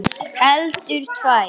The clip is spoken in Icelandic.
Heldur tvær.